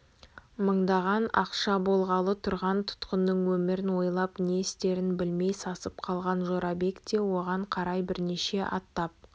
мыңдаған ақша болғалы тұрған тұтқынының өмірін ойлап не істерін білмей сасып қалған жорабек те оған қарай бірнеше аттап